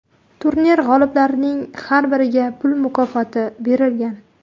Turnir g‘oliblarining har biriga pul mukofoti berilgan.